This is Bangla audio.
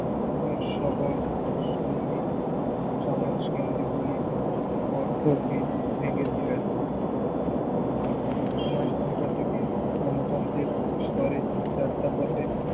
সবল সন্ধি সমাজকেন্দ্রিক অর্থভেদ ভেঙ্গে দিলেন। সমাজতন্ত্র থেকে গণতন্ত্রের স্তরে যাত্রাপথে